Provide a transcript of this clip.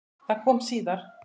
Það kom síðar.